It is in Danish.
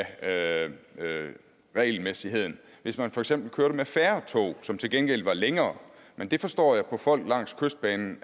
af regelmæssigheden hvis man for eksempel kørte med færre tog som til gengæld var længere men det forstår jeg på folk langs kystbanen